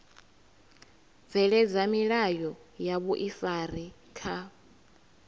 bveledza milayo ya vhuifari kha